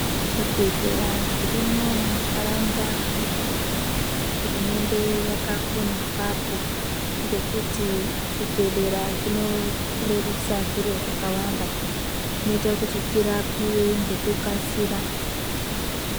Zvibhedhlera zvirimwo muntaraunda medu hurumende yakakona apapo ngekuti zvibhedhlera zvinorerusa zviro zvakawanda zvinoita kuti tirapiwe ngekukasira.